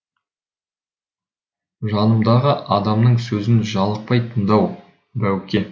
жанымдағы адамның сөзін жалықпай тыңдау бауке